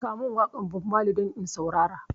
Samun waƙar Bob Mali don in saurara